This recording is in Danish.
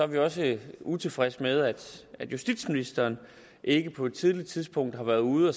vi også utilfredse med at at justitsministeren ikke på et tidligt tidspunkt har været ude at